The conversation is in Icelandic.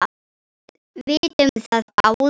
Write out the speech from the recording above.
Við vitum það báðar.